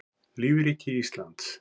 lífríki íslands